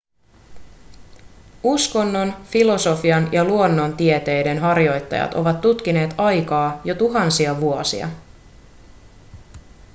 uskonnon filosofian ja luonnontieteiden harjoittajat ovat tutkineet aikaa jo tuhansia vuosia